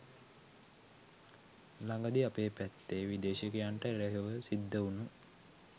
ලගදි අපේ පැත්තෙ විදේශිකයන්ට එරෙහිව සිද්ධවුන